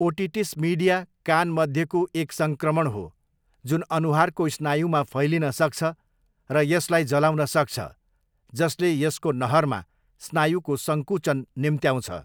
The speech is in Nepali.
ओटिटिस मिडिया कान मध्यको एक सङ्क्रमण हो, जुन अनुहारको स्नायुमा फैलिन सक्छ र यसलाई जलाउन सक्छ, जसले यसको नहरमा स्नायुको सङ्कुचन निम्त्याउँछ।